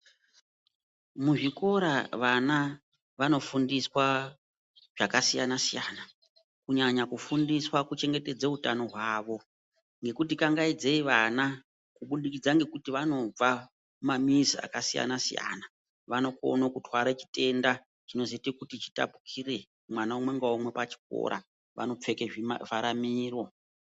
Muzvikora vana vanofundiswa zvakasiyana siyana kunyanga kufundiswa kuchengetedze utano hwawo ngekuti kangaidzei vana kubudikidza ngekuti vanobva mumamizi akasiyana siyana vanokone kutware chitenda chinozoite kuti chitapukire mwana umwe ngaumwe pachikora vanopfeke zvima vhara Miro.